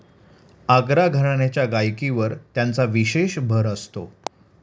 आग्रा घराण्याच्या गायकीवर त्यांचा विशेष भर असतो.